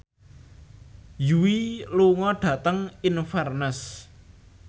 Yui lunga dhateng Inverness